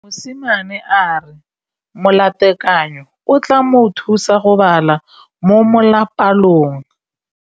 Mosimane a re molatekanyô o tla mo thusa go bala mo molapalong.